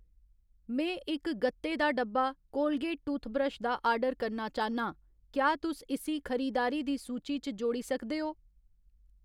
में इक ग'त्ते दा डब्बा कोलगेट टूथब्रश दा आर्डर करना चाह्‌न्नां, क्या तुस इस्सी खरीदारी दी सूची च जोड़ी सकदे ओ ?